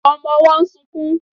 Ọmọ ọwọ́ ń sunkún